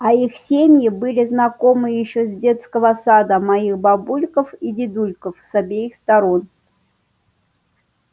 а их семьи были знакомы ещё с детского сада моих бабульков и дедульков с обеих сторон